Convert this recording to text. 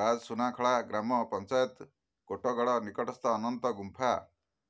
ରାଜସୁନାଖଳା ଗ୍ରାମ ପଞ୍ଚାୟତ କୋଟଗଡ ନିକଟସ୍ଥ ଅନନ୍ତ ଗୁମ୍ଫା